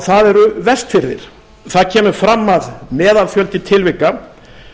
það eru vestfirðir það kemur fram að meðalfjöldi tilvika